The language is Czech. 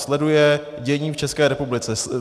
Sleduje dění v České republice.